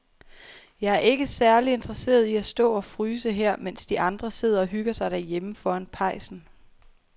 Jeg er ikke særlig interesseret i at stå og fryse her, mens de andre sidder og hygger sig derhjemme foran pejsen.